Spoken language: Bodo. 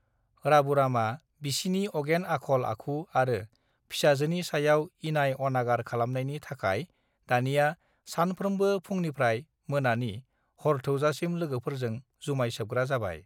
राबुरामा बिसिनि अगेन आखल आखु आरो फिसाजोनि सायाव इनाय अनागार खालामनायनि थाखय दानिया सानफ्रोमबो फुंनिफ्राय मोनानि हरथौजासिम लोगोफोरजों जुमाय सोबग्रा जाबाय